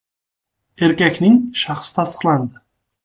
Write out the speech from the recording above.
Erkakning shaxsi tasdiqlandi.